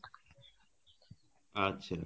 আচ্ছা